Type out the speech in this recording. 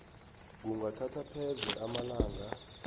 kungathatha pheze amalanga